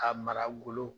A mara golo